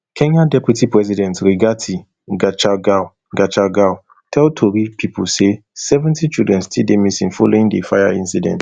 kenya deputy president rigathi gachagua gachagua tell tori pipo say seventy children still dey missing following di fire incident